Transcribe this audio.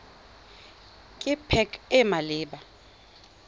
ke pac e e maleba